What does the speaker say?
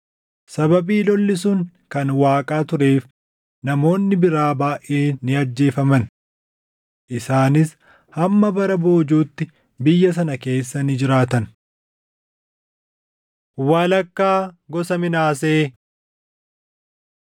sababii lolli sun kan Waaqaa tureef namoonni biraa baayʼeen ni ajjeefaman. Isaanis hamma bara boojuutti biyya sana keessa ni jiraatan. Walakkaa Gosa Minaasee